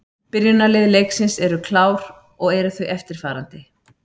Byrjunarlið leiksins eru klár og eru þau eftirfarandi: